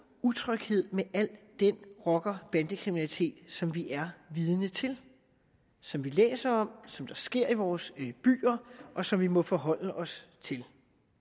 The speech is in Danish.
utryghed med al den rocker og bandekriminalitet som vi er vidne til som vi læser om som sker i vores byer og som vi må forholde os til